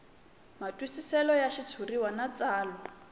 matwisiselo ya xitshuriwa na tsalwa